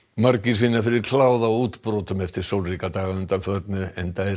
margir finna fyrir kláða og útbrotum eftir sólríka daga að undanförnu enda er